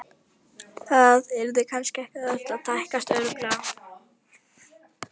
Það yrði kannski ekki auðvelt en tækist örugglega.